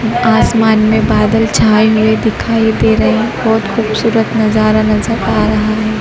ऊं आसमान मे बादल छाये हुए दिखाई दे रहे है बहोत खूबसूरत नजारा नजर आ रहा है।